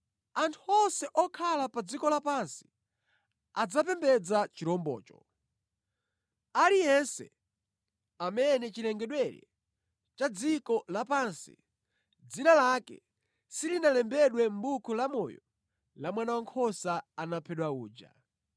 Anthu onse okhala pa dziko lapansi adzapembedza chirombocho, aliyense amene chilengedwere cha dziko lapansi dzina lake silinalembedwe mʼbuku la amoyo la Mwana Wankhosa anaphedwa uja.